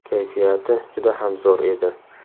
Kayfiyati juda ham zo‘r edi.